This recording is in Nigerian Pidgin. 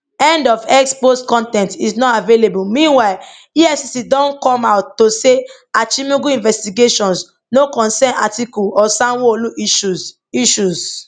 end of x post con ten t is not available meanwhile efcc don come out to say achimugu investigations no concern atiku or sanwoolu issues issues